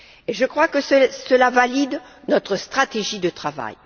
Je crois que cela valide notre stratégie de travail.